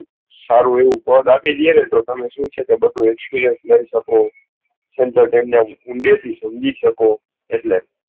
સારું આવું પદ આપી દઈએ તો તમે સાર experience લઇ શકો ઊંડે થી સમજી શકો એટલે